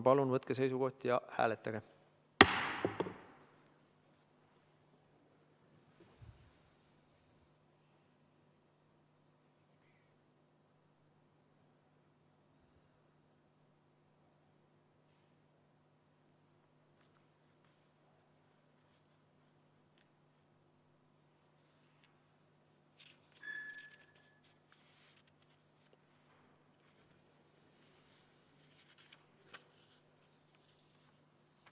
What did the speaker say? Palun võtke seisukoht ja hääletage!